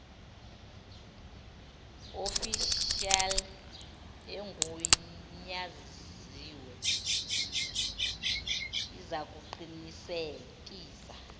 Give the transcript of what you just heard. ofishali egunyaziwe izakuqinisekisa